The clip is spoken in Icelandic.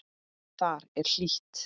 Þar er hlýtt.